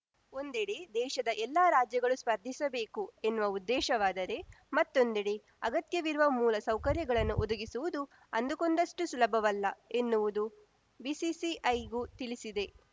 ಒಂದೆಡೆ ದೇಶದ ಎಲ್ಲಾ ರಾಜ್ಯಗಳು ಸ್ಪರ್ಧಿಸಬೇಕು ಎನ್ನುವ ಉದ್ದೇಶವಾದರೆ ಮತ್ತೊಂದೆಡೆ ಅಗತ್ಯವಿರುವ ಮೂಲಸೌಕರ್ಯಗಳನ್ನು ಒದಗಿಸುವುದು ಅಂದುಕೊಂಡಷ್ಟುಸುಲಭವಲ್ಲ ಎನ್ನುವುದು ಬಿಸಿಸಿಐಗೂ ತಿಳಿಸಿದೆ